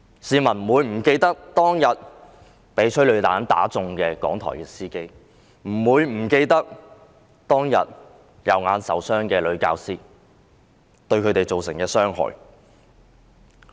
市民不會忘記當天被催淚彈射中的香港電台司機，不會忘記當天右眼受傷的教師，不會忘記事件對他們造成的傷害。